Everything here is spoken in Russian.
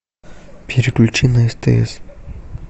переключи на стс